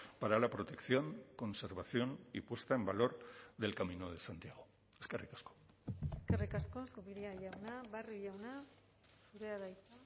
para la protección conservación y puesta en valor del camino de santiago eskerrik asko eskerrik asko zupiria jauna barrio jauna zurea da hitza